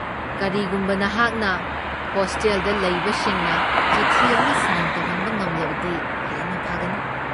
ꯀꯔꯤꯒꯨꯝꯕ ꯅꯍꯥꯛꯅ ꯍꯣꯁꯇꯦꯜꯗ ꯂꯩꯕꯁꯤꯡꯅ ꯆꯤꯊꯤ ꯑꯃ ꯁꯥꯏꯟ ꯇꯧꯍꯟꯕ ꯉꯝꯂꯕꯗꯤ ꯍꯦꯟꯅ ꯐꯒꯅꯤ꯫